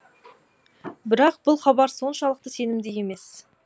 бірақ бұл хабар соншалықты сенімді емес